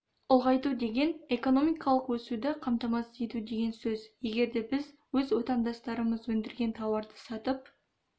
ұлғайту деген экономикалық өсуді қамтамасыз ету деген сөз егер де біз өз отандастарымыз өндірген тауарды сатып